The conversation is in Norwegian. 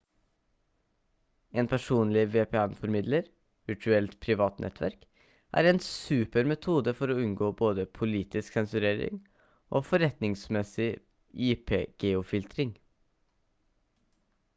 en personlig vpn-formidler virtuelt privat nettverk er en super metode for å unngå både politisk sensurering og forretningsmessig ip-geofiltrering